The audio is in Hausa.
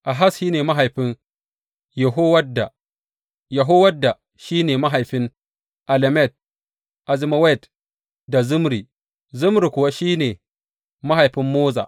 Ahaz shi ne mahaifin Yehowadda, Yehowadda shi ne mahaifin Alemet, Azmawet da Zimri, Zimri kuwa shi ne mahaifin Moza.